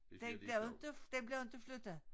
Den bliver jo inte den bliver jo inte flyttet